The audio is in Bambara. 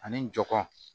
Ani jɔn